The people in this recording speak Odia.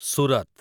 ସୁରତ